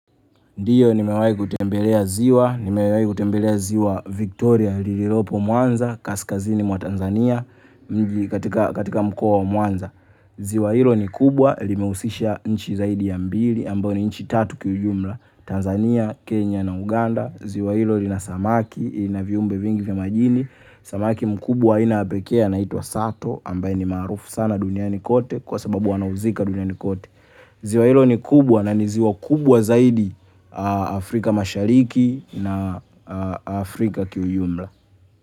Ndiyo, nimewahi kutembelea ziwa, nimewahi kutembelea ziwa Victoria lililopo Mwanza, kaskazini mwa Tanzania, katika mkoa wa Mwanza. Ziwa hilo ni kubwa, limehusisha nchi zaidi ya mbili ambayo ni nchi tatu kiujumla. Tanzania, Kenya na Uganda. Ziwa hilo lina samaki, na viumbe vingi vya majini. Samaki mkubwa wa aina ya pekee anaitwa sato ambaye ni maarufu sana duniani kote ziwa hilo ni kubwa na ni ziwa kubwa zaidi Afrika Mashariki na Afrika kiujumla.